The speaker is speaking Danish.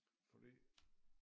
Fordi